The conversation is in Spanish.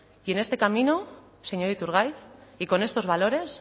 y en este camino señor iturgaiz y con estos valores